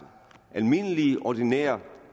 ordinære